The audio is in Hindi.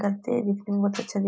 करते है दिखने में बहुत अच्छा दि--